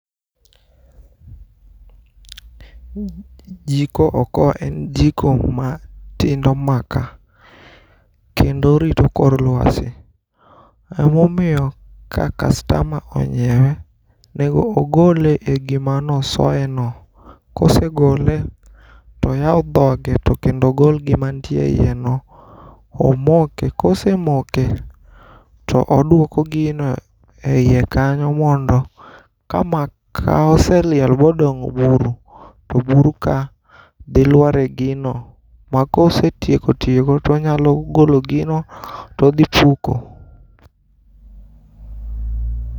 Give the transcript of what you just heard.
Jiko okoa en jiko ma tindo maka, kendo rito kor lwasi. Emomiyo ka kastama onyiewe, onego ogole e gima nosoye no. Kosegole toyaw dhoge to kendo ogol gima ntie e iye no. Omoke, kose moke to oduoko gino e iye kanyo mondo ka maka oseliel modong' buru, to buru ka dhi lwar e gino. Ma kose tieko tiyogo, tonyalo golo gino todhi puko.